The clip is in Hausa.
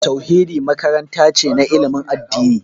Tauhidi makaranta ce na ilimin addini